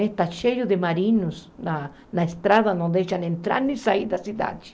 Está cheio de marinos na na estrada, não deixam entrar nem sair da cidade.